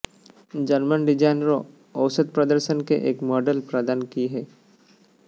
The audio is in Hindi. जर्मन डिजाइनरों औसत प्रदर्शन के एक मॉडल प्रदान की है